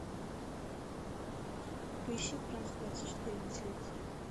поищи франс двадцать четыре на телевизоре